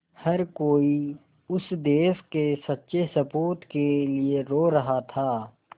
हर कोई उस देश के सच्चे सपूत के लिए रो रहा था